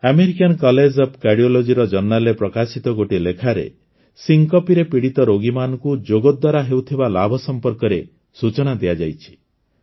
American college of କାର୍ଡିଓଲୋଜିର ଜର୍ଣ୍ଣାଲରେ ପ୍ରକାଶିତ ଗୋଟିଏ ଲେଖାରେ ସିନକୋପ୍ ସିଙ୍କପିରେ ପୀଡ଼ିତ ରୋଗୀମାନଙ୍କୁ ଯୋଗ ଦ୍ୱାରା ହେଉଥିବା ଲାଭ ସମ୍ପର୍କରେ ସୂଚନା ଦିଆଯାଇଛି